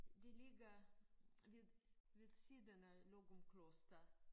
Det ligger lidt ved siden af Løgumkloster